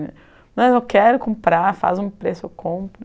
Não, eu quero comprar, faz um preço, eu compro.